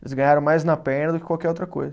Eles ganharam mais na perna do que qualquer outra coisa.